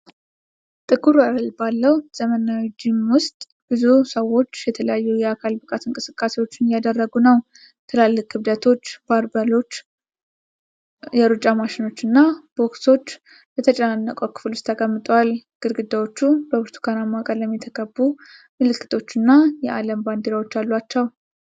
ጥቁር ወለል ባለው ዘመናዊ ጂም ውስጥ ብዙ ሰዎች የተለያዩ የአካል ብቃት እንቅስቃሴዎች እያደረጉ ነው። ትላልቅ ክብደቶች፣ ባርበሎች፣ የሩጫ ማሽኖች እና ቦክሶች በተጨናነቀው ክፍል ውስጥ ተቀምጠዋል። ግድግዳዎቹ በብርቱካናማ ቀለም የተቀቡ ምልክቶች እና የዓለም ባንዲራዎች አሏቸው።